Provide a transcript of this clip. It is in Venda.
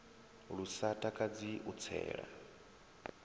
lu sa takadzi u tsela